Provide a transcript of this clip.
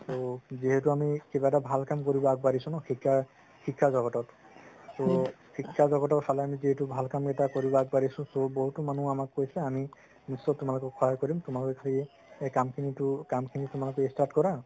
ত যিহেতু আমি কিবা ভাল কাম কৰিব আগবাঢ়িছো ন শিক্ষা শিক্ষা জগতত so শিক্ষা জগতৰ ফালে যিহেতু ভাল কাম এটা কৰিবলৈ আগবাঢ়িছো so বহুত মানুহে আমাক কৈছে আমি নিশ্চয় তোমালোকক সহায় কৰিম তোমালোকে খালি এই কামখিনিতো কামখিনি তোমালোকে start কৰা